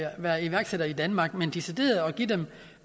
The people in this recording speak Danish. være iværksætter i danmark men decideret